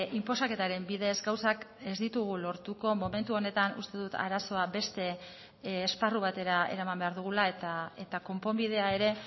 inposaketaren bidez gauzak ez ditugu lortuko momentu honetan uste dut arazoa beste esparru batera eraman behar dugula eta konponbidea ere